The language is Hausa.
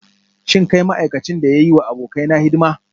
Shin kai ma'aikacin da ya yi wa abokaina hidima?